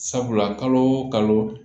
Sabula kalo o kalo